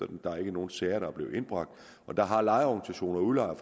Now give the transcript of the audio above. dømt der er ikke nogen sager der er blevet indbragt og der har lejerorganisationer og udlejere